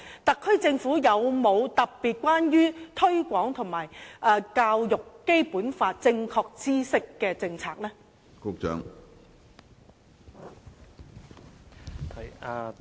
特區政府有否特別是關於推廣及教育《基本法》正確知識的政策？